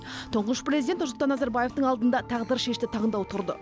тұңғыш президент нұрсұлтан назарбаевтың алдында тағдыршешті таңдау тұрды